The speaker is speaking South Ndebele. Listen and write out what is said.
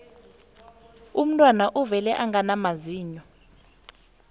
umntwana uvela angana mazinyo